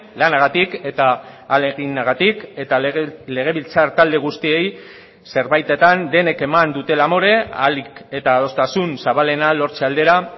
lanagatik eta ahaleginagatik eta legebiltzar talde guztiei zerbaitetan denek eman dutela amore ahalik eta adostasun zabalena lortze aldera